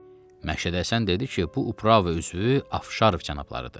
Məşədi Həsən dedi ki, bu Uprava üzvü Afşarov cənablarıdır.